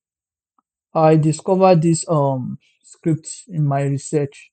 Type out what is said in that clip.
i discover dis um scripts in my research